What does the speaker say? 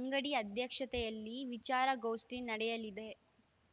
ಅಂಗಡಿ ಅಧ್ಯಕ್ಷತೆಯಲ್ಲಿ ವಿಚಾರಗೋಷ್ಠಿ ನಡೆಯಲಿದೆ